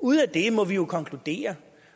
ud af det må vi jo konkludere